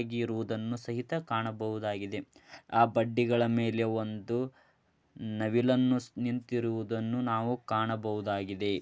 ಗಳಿರುದನ್ನು ಸಹಿತ ಕಾಣಬಹುದಾಗಿದೆ ಆ ಬಡ್ಡಿಗಳ ಮೇಲೆ ಒಂದುನವಿಲನ್ನು ನಿಂತಿರುವುದನ್ನು ನಾವು ಕಾಣಬಹುದಾಗಿದೆ.